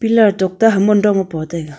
pilar topta haman dong taiga.